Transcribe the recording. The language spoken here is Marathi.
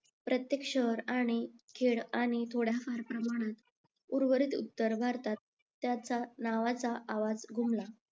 प्रत्येक शहर आणि खेद आणि थोड्याफार प्रमाणात उर्वरित उत्तर भारतात त्यांच्या नावाचा आवाज घुमला